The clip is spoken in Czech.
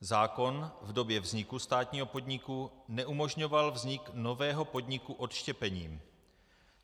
Zákon v době vzniku státního podniku neumožňoval vznik nového podniku odštěpením.